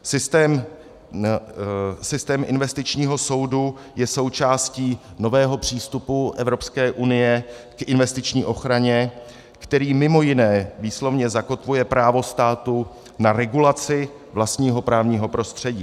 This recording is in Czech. Systém investičního soudu je součástí nového přístupu Evropské unie k investiční ochraně, který mimo jiné výslovně zakotvuje právo státu na regulaci vlastního právního prostředí.